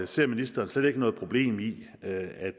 ser ministeren slet ikke noget problem i at